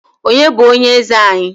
Onye bụ onye eze anyị?